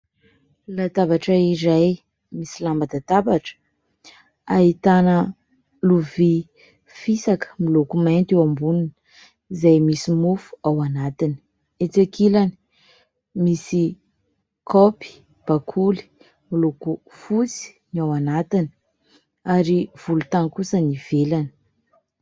Latabatra iray misy lamban-databatra, ahitana lovia fisaka miloko mainty eo amboniny izay misy mofo ao anatiny. Etsy ankilany misy kaopy bakoly miloko fotsy ny ao anatiny ary miloko volontany kosa ny ivelany.